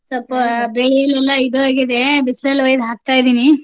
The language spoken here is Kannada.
ಸ್ವಲ್ಪ ಬೇಳೆಲೆಲ್ಲಾ ಇದು ಆಗಿದೆ. ಬಿಸ್ಲಲ್ ಒಯ್ದ್ ಹಾಕ್ತಾ ಇದೀನಿ.